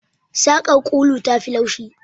Saƙar ulu tafi laushi.